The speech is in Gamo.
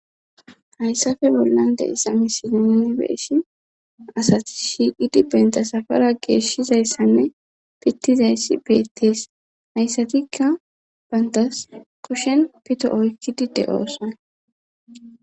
hayssafe bollan de issamisiibeeshi asati shiiqidi bentasafara geeshshizayssanne pittizayssi beettees hayssatikka bantas kushen pito oykkidi de7oosan